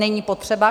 Není potřeba?